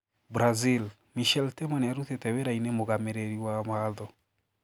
Brazil: Michel Temer niarutite wira-ini mũgamiriri wa watho.